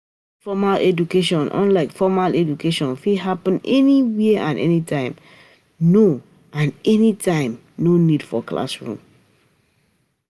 Informal education unlike formal education fit happen anywhere and anytime, no need for classroom